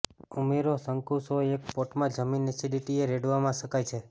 ઉમેરો શંકુ સોય એક પોટ માં જમીન એસિડિટીએ રેડવામાં શકાય છે